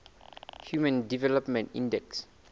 human development index